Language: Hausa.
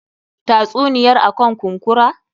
Tatsuniyar akan kunkura.